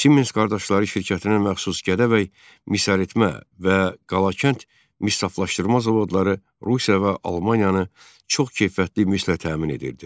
Siemens qardaşları şirkətinə məxsus Gədəbəy misəritmə və Qalakənd mis saflaşdırma zavodları Rusiya və Almaniyanı çox keyfiyyətli mislə təmin edirdi.